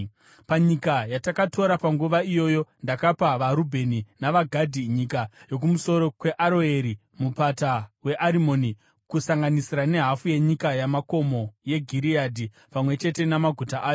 Panyika yatakatora panguva iyoyo, ndakapa vaRubheni navaGadhi nyika yokumusoro kweAroeri Mupata weArimoni, kusanganisira nehafu yenyika yamakomo yeGireadhi, pamwe chete namaguta ayo.